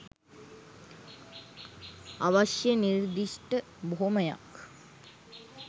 අවශ්‍ය නිර්දිෂ්ඨ බොහොමයක්